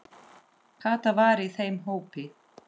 Kata var í þeim hópi.